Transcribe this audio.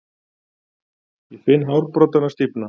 Ég finn hárbroddana stífna.